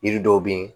Yiri dɔw be yen